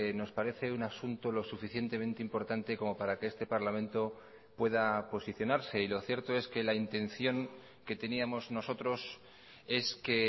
nos parece un asunto lo suficientemente importante como para que este parlamento pueda posicionarse y lo cierto es que la intención que teníamos nosotros es que